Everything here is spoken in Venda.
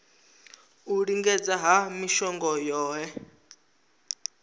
u lingedza ha mishongo yohe